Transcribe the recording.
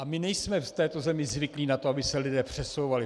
A my nejsme v této zemi zvyklí na to, aby se lidé přesouvali.